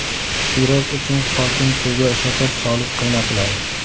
Sirop uchun qolgan suvga shakar solib qaynatiladi.